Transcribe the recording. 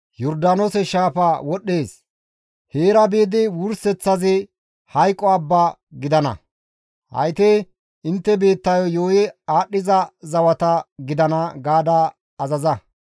Yordaanoose shaafa wodhdhees; heera biidi wurseththazi Hayqo Abba gidana; hayti intte biittayo yuuyi aadhdhiza zawata gidana› gaada azaza.»